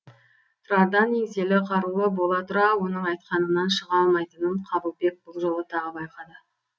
тұрардан еңселі қарулы бола тұра оның айтқанынан шыға алмайтынын қабылбек бұл жолы тағы байқады